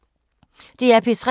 DR P3